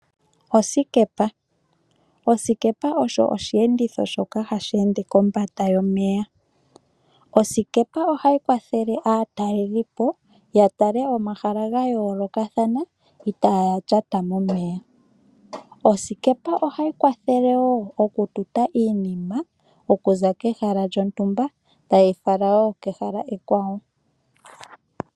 Osikepa, osikepa osho oshenditho shoka ha sheende kombanda yomeya, osikepa ohayi kwathele aatalelipo yatale omahala ga yoolokathana itaaya lyata momeya, osikepa ohayi kwathele woo okututa iinima, okuza kehala lyontumba tayi fala woo kehala ekwawo.